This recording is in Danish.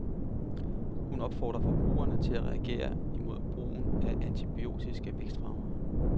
Hun opfordrer forbrugerne til at reagere imod brugen af antibiotiske vækstfremmere.